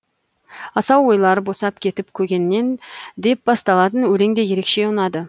асау ойлар босап кетіп көгеннен деп басталатын өлең де ерекше ұнады